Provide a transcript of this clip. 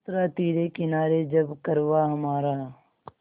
उतरा तिरे किनारे जब कारवाँ हमारा